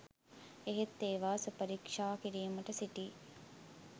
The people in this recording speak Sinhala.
එහෙත් ඒවා සුපරීක්‍ෂා කිරීමට සිටි